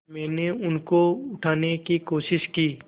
मैंने उनको उठाने की कोशिश की